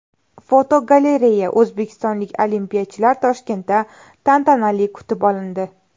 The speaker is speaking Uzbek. Fotogalereya: O‘zbekistonlik olimpiyachilar Toshkentda tantanali kutib olindi.